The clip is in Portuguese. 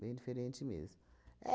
Bem diferente mesmo.